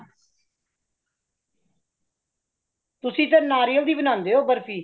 ਤੁਸੀਂ ਤੇ ਨਾਰੀਆਲ ਦੀ ਬਨਾਂਦੇ ਹੋ ਬਰਫੀ।